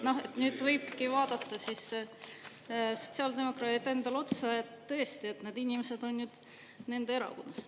Nüüd võivadki vaadata sotsiaaldemokraadid endale otsa, tõesti, need inimesed on nende erakonnas.